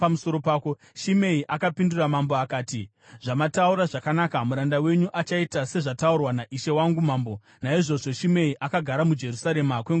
Shimei akapindura mambo akati, “Zvamataura zvakanaka. Muranda wenyu achaita sezvataurwa naishe wangu mambo.” Naizvozvo Shimei akagara muJerusarema kwenguva yakareba.